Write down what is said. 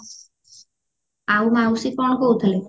ଆଉ ମାଉସୀ କଣ କହୁଥେଲେ